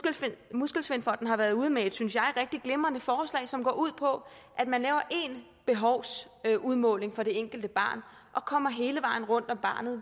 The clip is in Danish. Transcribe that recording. muskelsvindfonden har været ude med et synes jeg rigtig glimrende forslag som går ud på at man laver én behovsudmåling for det enkelte barn og kommer hele vejen rundt om barnet